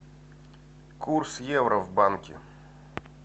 курс евро в банке